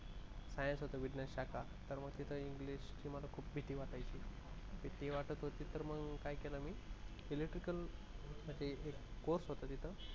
science होत विज्ञान शाखा तर मला इंग्लिश ची खूप भीती वाटायची तर मग काय केलं मी electrical मध्ये एक कोर्स होत तिथे